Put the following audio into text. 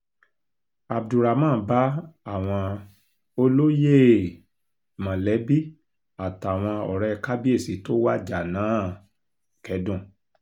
abdulrahman bá àwọn olóyè um mọ̀lẹ́bí àtàwọn ọ̀rẹ́ kábíyèsí tó wájà náà um kẹ́dùn